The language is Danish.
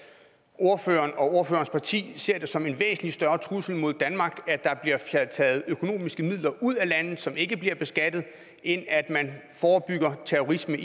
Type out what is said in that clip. ordføreren og ordførerens parti ser det som en væsentlig større trussel mod danmark at der bliver taget økonomiske midler ud af landet som ikke bliver beskattet end at man forebygger terrorisme